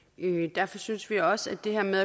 derfor synes vi også at det her med